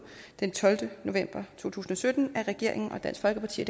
den tolvte november to tusind og sytten af regeringen dansk folkeparti